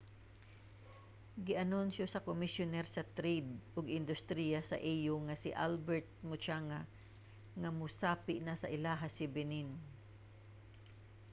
gianunsyo sa komisyuner sa trade ug industriya sa au nga si albert muchanga nga mosapi na sa ilaha si benin